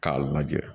K'a lajɛ